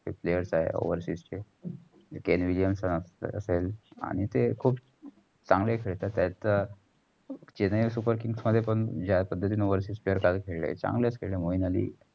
players आहे. overship television ची Kane Williamson असेल आणि तेय खूप चागलं खेळतात. त्यांत चेन्नई super king मध्ये पण जा पद्धतींनी overship काल खेळले मोईन अली.